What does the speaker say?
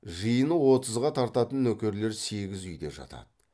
жиыны отызға тартатын нөкерлер сегіз үйде жатады